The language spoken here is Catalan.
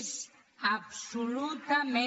és absolutament